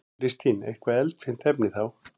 Kristín: Eitthvað eldfimt efni þá?